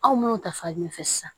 Aw mana ta fan min fɛ sisan